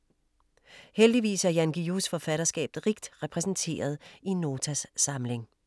Heldigvis er Jan Guillous forfatterskab rigt repræsenteret i Notas samling.